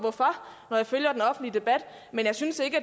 når jeg følger den offentlige debat men jeg synes ikke